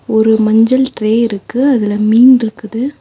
ஒரு மஞ்சள் ட்ரே இருக்கு அதுல மீன்ருக்குது.